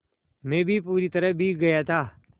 मैं भी पूरी तरह भीग गया था